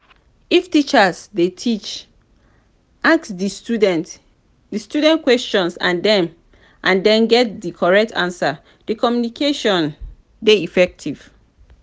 if teacher de teach ask di ask di students questions and dem get di correct answer di communication de effective